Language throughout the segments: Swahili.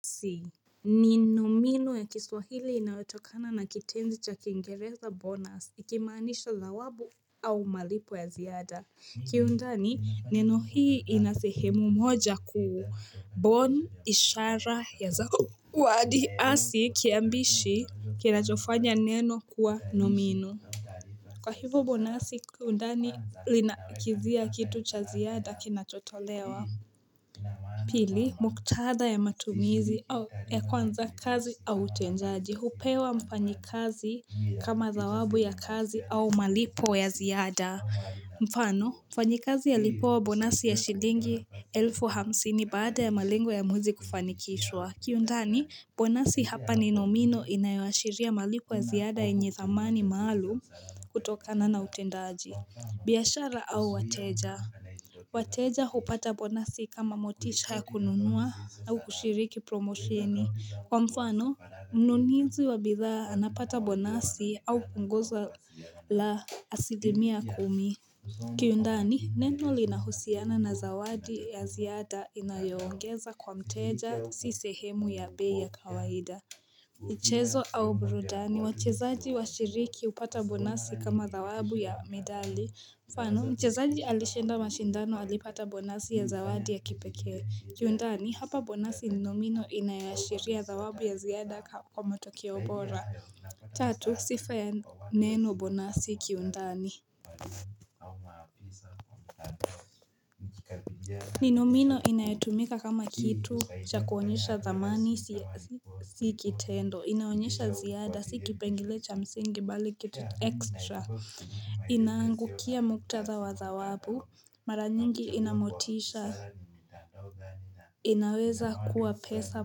Si ni nomino ya kiswahili inaotokana na kitenzi cha kingereza bonus ikimaanisha zawabu au malipo ya ziada ki undani neno hii ina sehemu moja kuu bon ishara ya zao wadi asi kiambishi kinachofanya neno kuwa nomino. Kwa hivu bonasi undani linakithia kitu cha ziada kinachotolewa. Pili, mkutadha ya matumizi ya kwanza kazi au utendaji hupewa mfanyikazi kama zawabu ya kazi au malipo ya ziada. Mfano, mfanyikazi alipewa bonasi ya shilingi elfu hamsini baada ya malengo ya muzi kufanikishwa. Kiundani, bonasi hapa ni nomino inayoashiria malipo ya ziyada yenye zamani maalum kutokana na utendaji. Biashara au wateja wateja upata bonasi kama motisha kununua au kushiriki promosheni. Kwa mfano, mnunizi wa bidhaa anapata bonasi au kupunguza la asilimia kumi. Kiundani, neno linahusiana na zawadi ya ziada inayoongeza kwa mteja si sehemu ya bei ya kawaida mchezo au burudani, wachezaji wa shiriki upata bonasi kama zawabu ya medali. Mfano, mchazaji alishenda mashindano alipata bonasi ya zawadi ya kipeke, kiundani, hapa bonasi ni nomino inayoashiria zawabu ya ziada kwa motokeo bora, tatu, sifa ya neno bonasi kiundani. Ni nomino inayetumika kama kitu, cha kuonyesha dhamani, si kitendo, inaonyesha ziada, si kipengile cha msingi, bali get extra, inaangukia mkutatha wa zawabu, mara nyingi inamotisha. Inaweza kuwa pesa,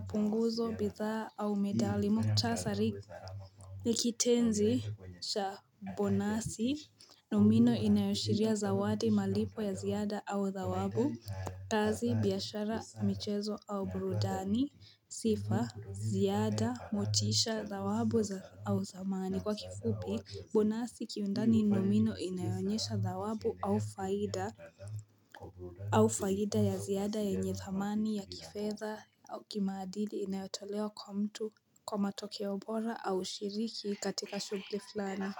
punguzo, bidhaa au medali muktasari. Ni kitenzi vha bonasi, nomino inayo ashiria zawadi malipo ya ziada au dhawabu. Kazi biashara michezo au burudani sifa, ziada, motisha dhawabu au dhamani kwa kifufi, bonasi kiundani nomino inayo onyesha dhawabu au faida. Au faida ya ziada, yenye thamani ya ki fedha au kimaadili inayotolewa kwa mtu, kwa, kwa matokeo, boraa, aushiriki, kitika, shugli flani.